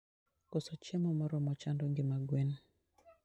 Koso chiemo moromo chando ngima gwen.